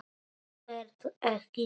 Vertu ekki góður.